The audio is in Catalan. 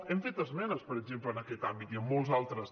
hem fet esmenes per exemple en aquest àmbit i en molts altres